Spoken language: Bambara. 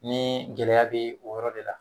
Nii gɛlɛya be o yɔrɔ de la